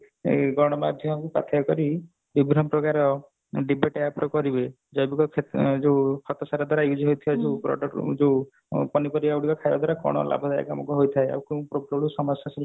ଏଇ ଗଣମାଧ୍ୟମକୁ ପାଥେୟ କରି ବିଭିନ୍ନ ପ୍ରକାର debate ୟା ଉପରେ କରିବେ ଜୈବିକ ଯୋଉ ଖତ ସାର ଦ୍ଵାରା ଏଇ ଯୋଉ product ଯୋଉ ପନିପରିବା ଗୋଡା ଖାଇବା ଦ୍ଵାରା କଣ ଲାଭଦାୟକ ଆମକୁ ହେଇଥାଏ ଆଉ ସମସ୍ୟା ସବୁ